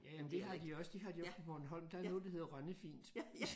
Ja ja men det har de også det har de også på Bornholm der er noget der hedder Rønne-fint